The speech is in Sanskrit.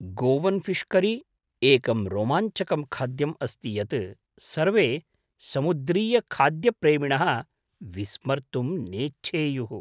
गोवन् फ़ीश् करी एकं रोमाञ्जकं खाद्यम् अस्ति यत् सर्वे समुद्रीयखाद्यप्रेमिणः विस्मर्तुं नेच्छेयुः।